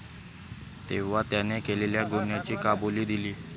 तेव्हा त्याने केलेल्या गुन्ह्याची कबुली दिली.